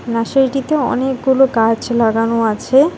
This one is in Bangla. নার্সারিটিতে অনেকগুলো গাছ লাগানো আছে।